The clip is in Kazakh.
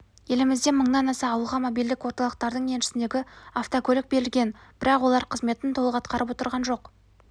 елімізде мыңнан аса ауылға мобильдік орталықтардың еншісіндегі автокөлік берілген бірақ олар қызметін толық атқарып отырған жоқ